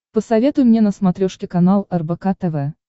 посоветуй мне на смотрешке канал рбк тв